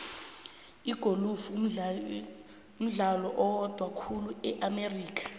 igolufu mdlalo oyhandwa khulu e amerika